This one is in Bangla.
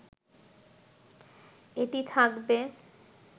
এটি থাকবে